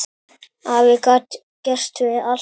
Afi gat gert við allt.